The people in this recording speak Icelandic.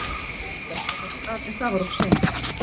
Lilla stökk af stað en það var of seint.